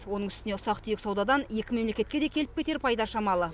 оның үстіне ұсақ түйек саудадан екі мемлекетке де келіп кетер пайда шамалы